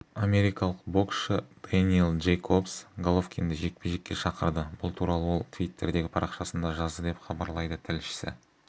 америкалық боксшы дэниэл джейкобс головкинді жекпе-жекке шақырды бұл туралы ол твиттердегі парақшасында жазды деп хабарлайды тілшісі